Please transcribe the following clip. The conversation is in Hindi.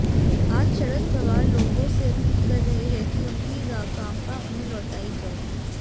आज शरद पवार लोगों से अपील कर रहे हैं कि उनकी राकांपा उन्हें लौटाई जाए